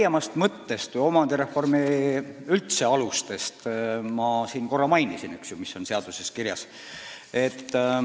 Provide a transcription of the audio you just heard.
Laiemat mõtet ja üldse omandireformi aluseid ma juba mainisin, see on seaduses kirjas.